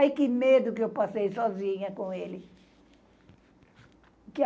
Ai, que medo que eu passei sozinha com ele.